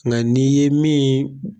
Nka n' ye min.